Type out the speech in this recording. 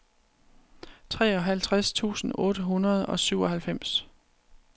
treoghalvtreds tusind otte hundrede og syvoghalvfems